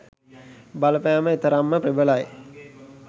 බලපෑම එතරම්ම ප්‍රබලයි